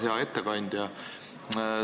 Hea ettekandja!